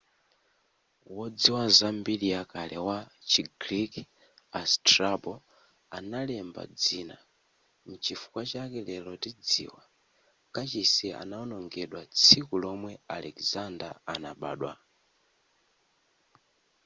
wodziwa za mbiri ya kale wa chi greek a strabo analemba dzina nchifukwa chake lero tidziwa kachisi anaonongedwa tsiku lomwe alexander anabadwa